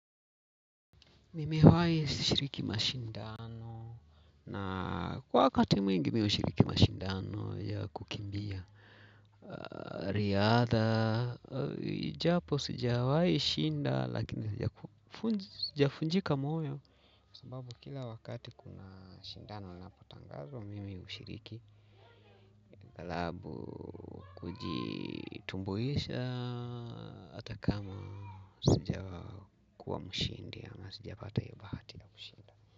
Nimewai shiriki mashindano na kwa wakati mwingi mi ushiriki mashindano ya kukimbia riadha, japo sijawai shinda lakini sijafunjika moyo. Sababu kila wakati kuna shindano napotangazwa mimi mshiriki Galabu kujitumbuisha ata kama sijakuwa mshindi ama sijapata hio bahati ya kushinda.